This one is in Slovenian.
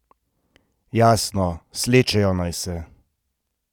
Jasno, slečejo naj se!